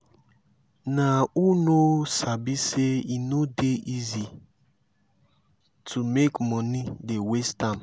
nah who no sabi sey e no dey easy to make moni dey waste am.